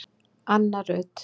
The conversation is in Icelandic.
Anna Rut